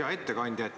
Hea ettekandja!